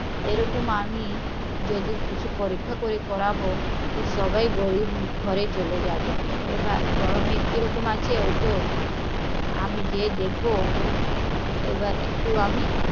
এরকম আমি পরীক্ষা করে করবো তো সব গরিব ঘরেই চলে যাবে, বড়ো মেয়ে কিরকম আছে আমি যেয়ে দেখবো এবার আমি